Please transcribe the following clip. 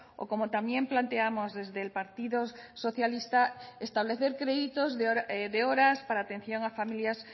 o como también planteamos desde el partido socialista establecer créditos de horas para atención a familias